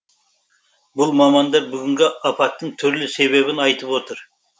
бұл мамандар бүгінгі апаттың түрлі себебін айтып отыр